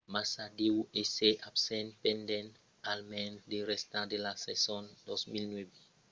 massa deu èsser absent pendent almens la rèsta de la sason 2009